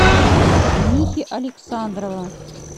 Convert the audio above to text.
михи александрова